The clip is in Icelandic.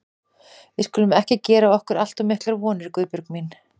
Við skulum ekki gera okkur allt of miklar vonir, Guðbjörg mín.